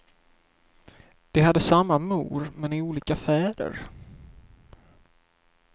De hade samma mor, men olika fäder.